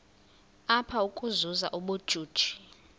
apha ukuzuza ubujuju